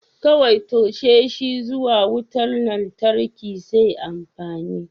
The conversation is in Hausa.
Kawai toshe shi zuwa wutar lantarki sai amfani.